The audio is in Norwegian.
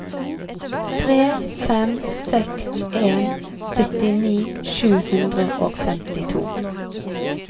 tre fem seks en syttini sju hundre og femtito